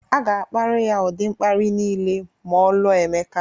A ga-akparị ya ụdị mkparị niile ma ọ lụọ Emeka